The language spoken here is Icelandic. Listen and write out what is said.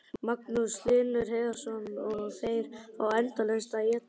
Magnús Hlynur Hreiðarsson: Og þær fá endalaust að éta?